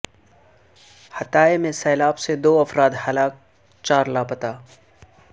حطائے میں سیلاب سے دو افراد ہلاک چار لاپتہ